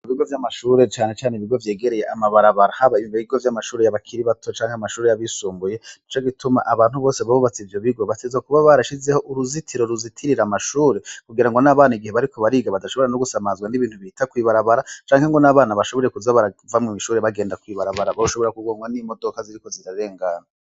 Ibigo vyamashure cane cane ibigo vyegereye amabarabara haba mubiga vyamashure yabakiri bato canke amashure yabisumbuye nico gituma abantu bose bubatse ivyo bigo bategerezwa kuba barashizeho uruzitiro ruzitirira amashure kugira n'abana igihe bariko bariga badashobora no gusamazwa nibintu bihita kwibarabara canke n'abana bashobore kuza barava mwishure bagenda kwibarabara boshobora kugongwa nimodoka ziriko zirarengana.